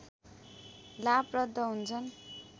लाभप्रद हुन्छन्